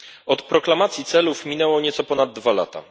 Od proklamacji celów minęło nieco ponad dwa lata.